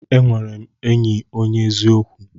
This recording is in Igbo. E nwere m enyi onye eziokwu.